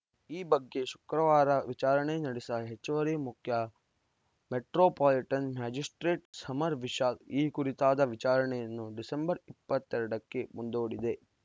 ಈ ಬಗ್ಗೆ ಶುಕ್ರವಾರ ವಿಚಾರಣೆ ನಡೆಸಿದ ಹೆಚ್ಚುವರಿ ಮುಖ್ಯ ಮೆಟ್ರೋಪಾಲಿಟನ್‌ ಮ್ಯಾಜಿಸ್ಪ್ರೇಟ್‌ ಸಮರ್‌ ವಿಶಾಲ್‌ ಈ ಕುರಿತಾದ ವಿಚಾರಣೆಯನ್ನು ಡಿಸೆಂಬರ್‌ ಇಪ್ಪತ್ತ್ ಎರಡಕ್ಕೆ ಮುಂದೂಡಿದೆ